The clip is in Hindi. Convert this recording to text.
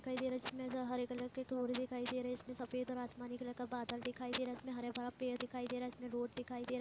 दिखाई दे रहा इसमें ह हरे कलर के तोड़ दिखाई दे रहे है इसमें सफेद और आसमानी कलर का बादल दिखाई दे रहा है इसमें हरे भरा पेड़ दिखाई दे रहा है इसमें रोड़ दिखाई दे रहा --